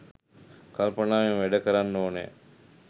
කල්පනාවෙන් වැඩ කරන්න ඕනේ.